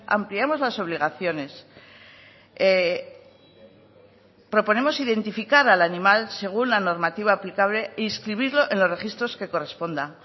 ampliamos las obligaciones proponemos identificar al animal según la normativa aplicable e inscribirlo en los registros que corresponda